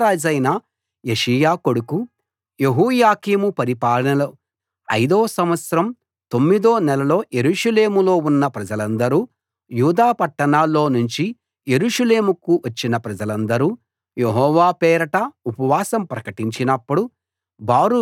యూదా రాజైన యోషీయా కొడుకు యెహోయాకీము పరిపాలనలో ఐదో సంవత్సరం తొమ్మిదో నెలలో యెరూషలేములో ఉన్న ప్రజలందరూ యూదా పట్టాణాల్లో నుంచి యెరూషలేముకు వచ్చిన ప్రజలందరూ యెహోవా పేరట ఉపవాసం ప్రకటించినప్పుడు